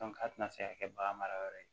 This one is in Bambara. a tɛna se ka kɛ bagan mara yɔrɔ ye